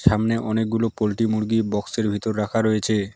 সামনে অনেকগুলো পল্টি মুরগি বক্সের ভিতর রাখা রয়েছে।